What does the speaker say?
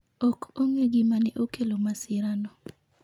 Ok ong'e gima ne okelo masirano.